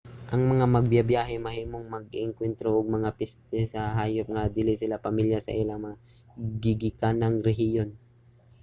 ang mga magbibyahe mahimong maka-engkuwentro og mga peste sa hayop nga dili sila pamilya sa ilang mga gigikanang rehiyon